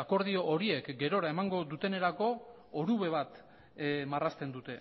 akordio horiek gerora emango dutenerako orube bat marrazten dute